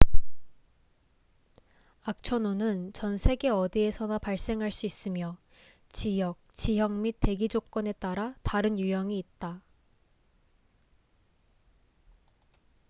악천후는 전 세계 어디에서나 발생할 수 있으며 지역 지형 및 대기 조건에 따라 다른 유형이 있다